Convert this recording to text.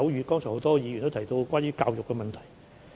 剛才很多議員也提到關於教育的問題。